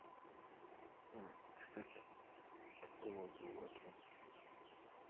кстати по поводу этого